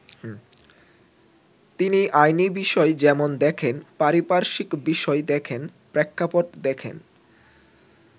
তিনি আইনি বিষয় যেমন দেখেন, পারিপার্শ্বিক বিষয় দেখেন, প্রেক্ষাপট দেখেন।